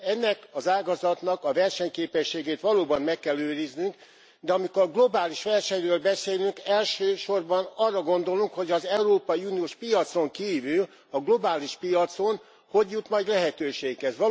Ennek az ágazatnak a versenyképességét valóban meg kell őriznünk, de amikor a globális versenyről beszélünk, elsősorban arra gondolunk, hogy az európai uniós piacon kívül, a globális piacon hogy jut majd lehetőséghez.